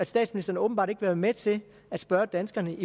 statsministeren åbenbart ikke vil være med til at spørge danskerne